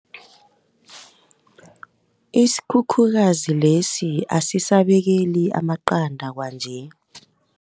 Isikhukhukazi lesi asisabekeli amaqanda kwanje.